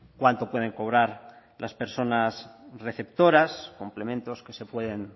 cuánto pueden cobrar las personas receptoras complementos que se pueden